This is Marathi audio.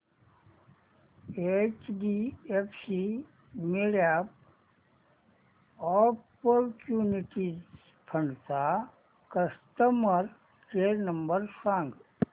एचडीएफसी मिडकॅप ऑपर्च्युनिटीज फंड चा कस्टमर केअर नंबर सांग